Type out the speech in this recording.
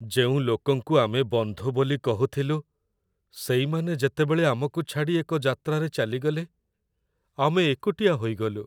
ଯେଉଁ ଲୋକଙ୍କୁ ଆମେ ବନ୍ଧୁ ବୋଲି କହୁଥିଲୁ ସେଇମାନେ ଯେତେବେଳେ ଆମକୁ ଛାଡ଼ି ଏକ ଯାତ୍ରାରେ ଚାଲିଗଲେ, ଆମେ ଏକୁଟିଆ ହୋଇଗଲୁ।